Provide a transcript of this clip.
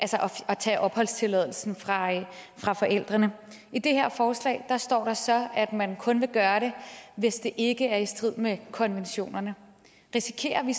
tage opholdstilladelsen fra forældrene i det her forslag står der så at man kun vil gøre det hvis det ikke er i strid med konventionerne risikerer vi